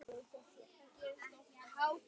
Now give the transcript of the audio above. Ég gerði mitt besta.